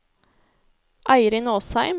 Eirin Åsheim